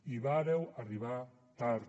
i vàreu arribar tard